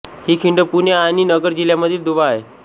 ही खिंड पुणे आणि नगर जिल्ह्यांमधील दुवा आहे